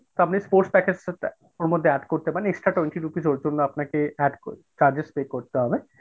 তা আপনি sports package টা ওর মধ্যে add করতে পারেন extra twenty rupees এর জন্য আপনাকে add charges pay করতে হবে।